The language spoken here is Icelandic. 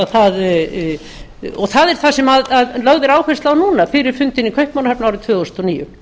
það er það sem lögð er áhersla á núna fyrir fundinn í kaupmannahöfn árið tvö þúsund og níu